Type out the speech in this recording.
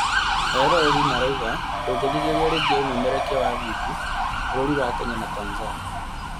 eroreri marauga "ndũngĩthikĩria rĩngĩ ũmemerekia wa video, bũrũri wa Kenya na Tanzania"